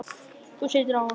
Þú situr á honum, amma!